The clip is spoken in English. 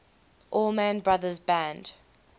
allman brothers band